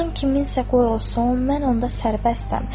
Cahan kiminsə qoy olsun, mən onda sərbəstəm.